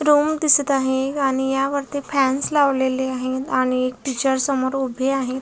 Room दिसत आहे आणि यावरती फॅनस लावलेले आहेत आणि टीचर समोर उभे आहेत.